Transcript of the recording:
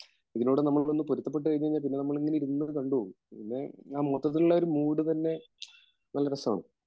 ഇതിനോട് നമ്മളൊന്ന് പൊരുത്തപ്പെട്ടുകഴിഞ്ഞാൽ പിന്നെ നമ്മളിങ്ങനെ ഇരുന്നത് കണ്ടു പോകും